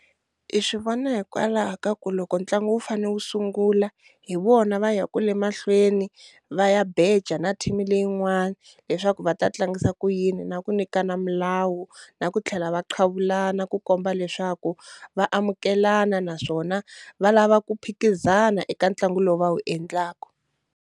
I swi vona hikwalaho ka ku loko ntlangu wu fane wu sungula hi vona va ya ku le mahlweni va ya beja na team leyin'wana leswaku va ta tlangisa ku yini na ku nyikana milawu na ku tlhela va qhavulana ku komba leswaku va amukelana naswona va lava ku phikizana eka ntlangu lowu va wu endlaku.